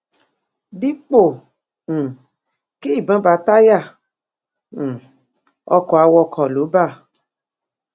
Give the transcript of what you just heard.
dípò um kí ìbọn bá táyà um ọkọ awakọ lò bá